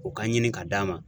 O ka ɲini ka d'a ma.